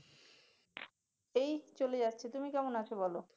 এই চলে যাচ্ছে, তুমি কেমন আছো বল?